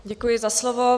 Děkuji za slovo.